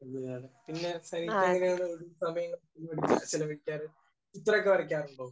അങ്ങനെയാണ്. പിന്നെസെനീറ്റ എങ്ങനെയാണ് ഒഴിവ് സമയം ചിലവഴിക്കാൻ ശ്രമിക്കാറ്? ചിത്രമൊക്കെ വരക്കാറുണ്ടോ?